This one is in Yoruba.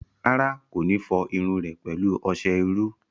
Rárá, kò ní fọ irun rẹ̀ pẹ̀lú ọsẹ iru